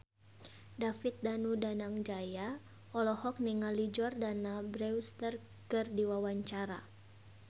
David Danu Danangjaya olohok ningali Jordana Brewster keur diwawancara